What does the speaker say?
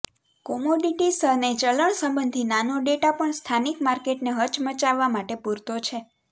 commodities અને ચલણ સંબંધી નાનો ડેટા પણ સ્થાનિક માર્કેટને હચમચાવવા માટે પૂરતો છે